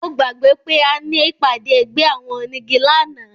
Mo gbàgbé pé a ní ìpàdé ẹgbẹ́ àwọn onígi lánàá